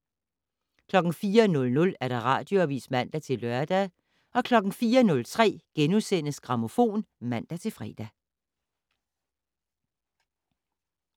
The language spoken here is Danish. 04:00: Radioavis (man-lør) 04:03: Grammofon *(man-fre)